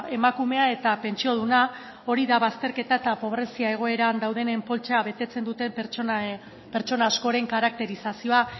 emakume eta pentsioduna hori da bazterketa eta pobrezia egoeran dauden poltsa betetzen duten pertsona askoren karakterizazioa